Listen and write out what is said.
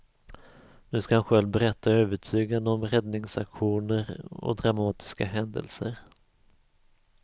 Nu ska han själv berätta övertygande om räddningsaktioner och dramatiska händelser.